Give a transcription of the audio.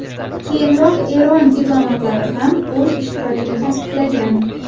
Keyinroq Eron diplomatlari ham o‘z ishtirokini tasdiqlagan.